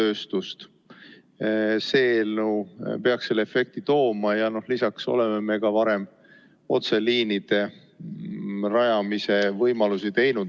See eelnõu peaks selle efekti tooma ja lisaks oleme me ka varem otseliinide rajamise võimalusi kasutanud.